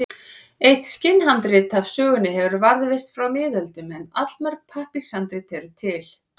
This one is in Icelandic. Eitt skinnhandrit af sögunni hefur varðveist frá miðöldum en allmörg pappírshandrit eru til.